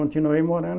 Continuei morando